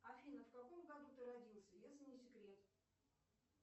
афина в каком году ты родился если не секрет